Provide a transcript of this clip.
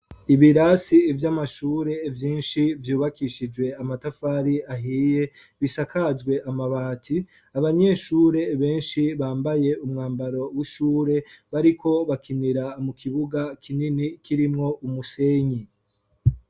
Ibirasi ivy'amashure vyinshi vyubakishijwe amatafari ahiye bisakajwe amabati, abanyeshure benshi bambaye umwambaro w'ishure bariko bakinira mu kibuga kinini kirimwo umusenyi.